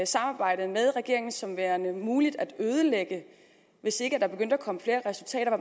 samarbejdet med regeringen som værende muligt at ødelægge hvis ikke der begyndte at komme flere resultater